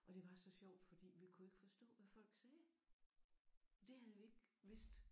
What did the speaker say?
Og det var så sjovt fordi vi kunne ikke forstå hvad folk sagde. Det havde vi ikke vidst